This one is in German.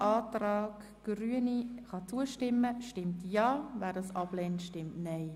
Wer dieser Rückweisung zustimmt, stimmt Ja, wer diese ablehnt, stimmt Nein.